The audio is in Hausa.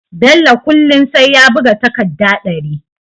Bello kullun sai ya buga takadda dari